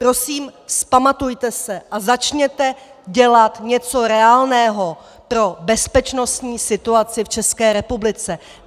Prosím, vzpamatujte se a začněte dělat něco reálného pro bezpečnostní situaci v České republice.